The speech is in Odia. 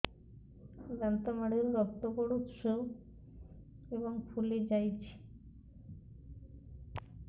ଦାନ୍ତ ମାଢ଼ିରୁ ରକ୍ତ ପଡୁଛୁ ଏବଂ ଫୁଲି ଯାଇଛି